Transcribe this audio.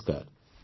ନମସ୍କାର